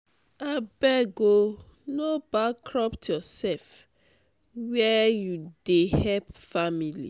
abeg o no bankrupt yoursef where you dey help family.